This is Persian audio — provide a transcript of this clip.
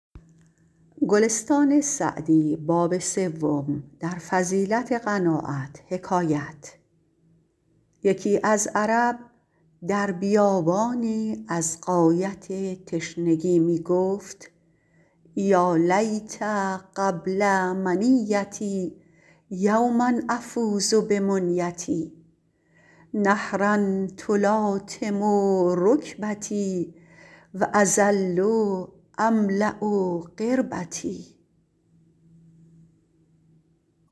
یکی از عرب در بیابانی از غایت تشنگی می گفت یا لیت قبل منیتي یوما أفوز بمنیتي نهرا تلاطم رکبتي و أظل أملأ قربتي